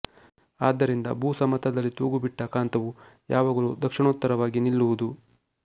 ಆದ್ದರಿಂದ ಭೂ ಸಮತಲದಲ್ಲಿ ತೂಗುಬಿಟ್ಟ ಕಾಂತವು ಯಾವಾಗಲು ದಕ್ಷಿಣೋತ್ತರವಾಗಿ ನಿಲ್ಲುವುದು